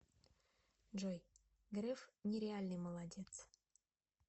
джой греф нереальный молодец